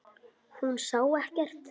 Hún sá ekkert.